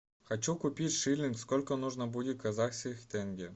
хочу купить шиллинг сколько нужно будет казахских тенге